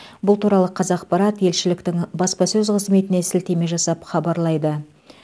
бұл туралы қазақпарат елшіліктің баспасөз қызметіне сілтеме жасап хабарлайды